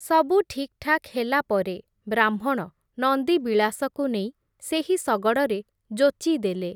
ସବୁ ଠିକ୍‌ଠାକ୍ ହେଲା ପରେ, ବ୍ରାହ୍ମଣ ନନ୍ଦିବିଳାସକୁ ନେଇ, ସେହି ଶଗଡ଼ରେ ଯୋଚିଦେଲେ ।